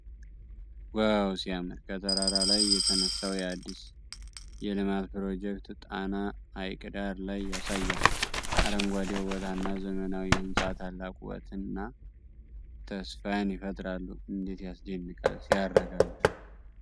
ዋው ሲያምር! ከተራራ ላይ የተነሳው የአዲስ የልማት ፕሮጀክት ጣና ሐይቅ ዳር ላይ ያሳያል። አረንጓዴው ቦታና ዘመናዊው ሕንፃ ታላቅ ውበትና ተስፋን ይፈጥራሉ። እንዴት ያስደንቃል! ሲያረጋጋ!